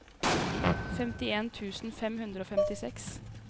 femtien tusen fem hundre og femtiseks